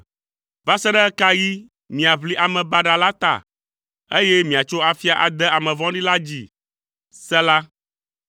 “Va se ɖe ɣe ka ɣi miaʋli ame baɖa la ta, eye miatso afia ade ame vɔ̃ɖi la dzi?” Sela